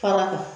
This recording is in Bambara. Fara kan